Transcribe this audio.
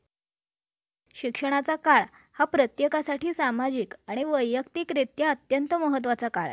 भौगोलिक मर्यादाच्या पलीकडे अपघात होणे वाहन बेकायदेशीर कामासाठी वापरले जात असताना विधुत यांत्रिक बिघाड